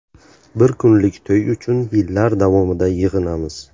Bir kunlik to‘y uchun yillar davomida yig‘inamiz.